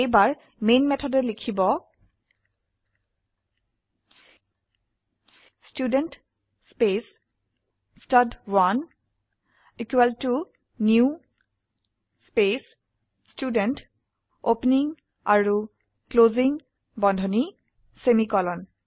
এইবাৰ মেন মেথডে লিখব student space stud one equal to new space student opening আৰু ক্লোসিং বন্ধনী সেমিকোলন